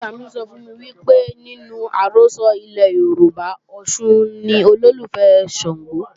Ìyá-àgbà mi sọ fún mi pé nínú àrọ́sọ ilẹ̀ Yorùbá, Ọ̀ṣun ni olólùfẹ́ Ṣàngó